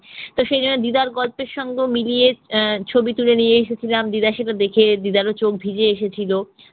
তো সেজন্য দিদার গল্পের সঙ্গে মিলিয়ে আহ ছবি তুলে নিয়ে এসেছিলাম, দিদা সেগুলো দেখে দিদার ওচোখ ভিজে এসেছিল।